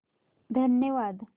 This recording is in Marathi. धन्यवाद